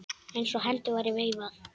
Eins og hendi væri veifað.